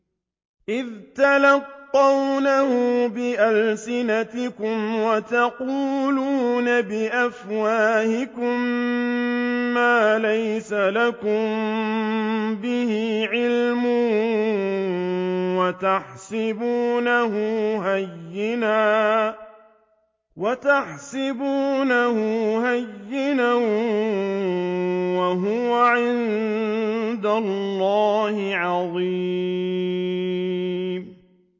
إِذْ تَلَقَّوْنَهُ بِأَلْسِنَتِكُمْ وَتَقُولُونَ بِأَفْوَاهِكُم مَّا لَيْسَ لَكُم بِهِ عِلْمٌ وَتَحْسَبُونَهُ هَيِّنًا وَهُوَ عِندَ اللَّهِ عَظِيمٌ